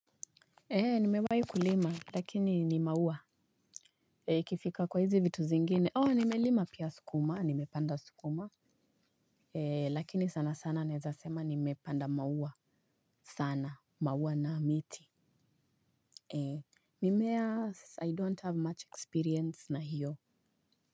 Eeh nimewahi kulima lakini ni maua ee ikifika kwa hizi vitu zingine ooh nimelima pia sukuma nimepanda sukuma ee lakini sana sana naezasema nimepanda maua sana maua na miti ee mimea i don't have much experience na hiyo.